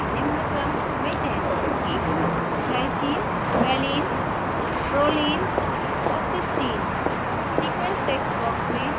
प्रदर्शन के लिए मैं निम्न क्रम में चयन करुगी glycine glyvaline valproline pro और cystine cys